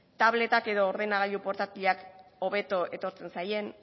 tabletak edo ordenagailu portatilak hobeto etortzen zaien